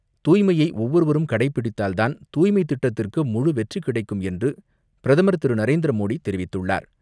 தூய்மையை ஒவ்வொருவரும் கடைபிடித்தால் தான், தூய்மை திட்டத்திற்கு முழு வெற்றி கிடைக்கும் என்று பிரதமர் திரு நரேந்திர மோடி தெரிவித்துள்ளார்.